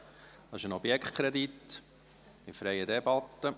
Es handelt sich um einen Objektkredit in freier Debatte.